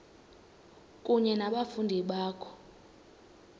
kunye nabafundi bakho